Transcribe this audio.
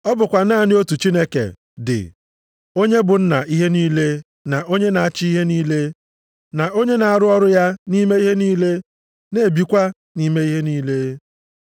Ọ bụkwa naanị otu Chineke dị onye bụ Nna ihe niile na onye na-achị ihe niile, na onye na-arụ ọrụ ya nʼime ihe niile, na-ebikwa nʼime ihe niile.